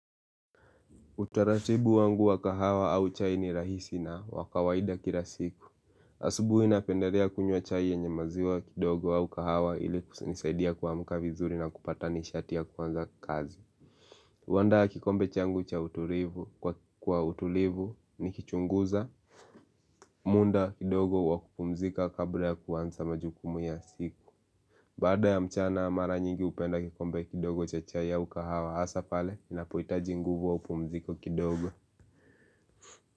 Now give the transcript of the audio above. Utaratibu wangu wa kahawa au chai ni rahisi na wa kawaida kila siku asubuhi napendelea kunywa chai yenye maziwa kidogo au kahawa ili kunisaidia kuamka vizuri na kupata nishati ya kuanza kazi huandaa kikombe changu cha utulivu kwa utulivu nikichunguza muda kidogo wa kupumzika kabla ya kuanza majukumu ya siku Baada ya mchana mara nyingi hupenda kikombe kidogo cha chai au kahawa hasa pale inapohitaji nguvu au pumziko kidogo.